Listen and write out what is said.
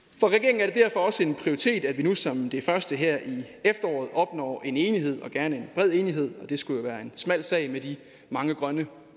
for også en prioritet at vi nu som det første her i efteråret opnår en enighed og gerne en bred enighed jo skulle være en smal sag med de mange grønne